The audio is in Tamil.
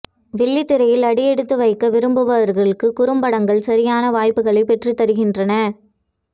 வெள்ளித்திரையில் அடியெடுத்து வைக்க விரும்புபவர்களுக்கு குறும்படங்கள் சரியான வாய்ப்புகளை பெற்றுத் தருகின்றன